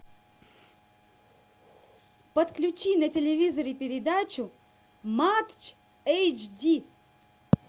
подключи на телевизоре передачу матч эйчди